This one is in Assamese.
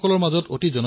ই হল এক ফিটনেছ এপ